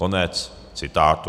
Konec citátu.